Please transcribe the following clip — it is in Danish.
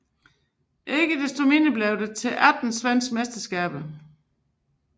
Ikke desto mindre blev det til 18 svenske mesterskaber